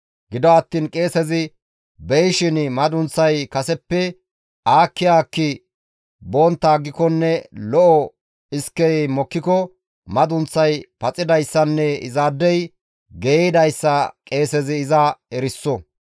Gido attiin qeesezi beyishin madunththay kaseppe aakki aakki bontta aggikonne lo7o iskey mokkiko madunththay paxidayssanne izaadey geeyidayssa qeesezi iza eriso.